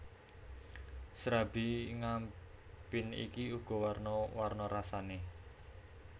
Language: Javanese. Srabi Ngampin iki uga warna warna rasane